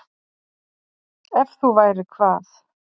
Ef þú værir hvað?